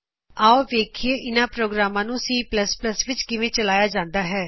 ਆਓ ਵੇਖਿਏ ਕੀ ਇਹਨਾ ਪ੍ਰੋਗਰਾਮਾ ਨੂੰ C ਵਿਚ ਕਿਵੇ ਚਲਾਇਆ ਜਾਂਦਾ ਹੈ